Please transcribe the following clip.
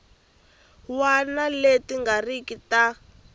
wana leti nga riki ta